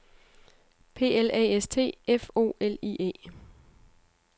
P L A S T F O L I E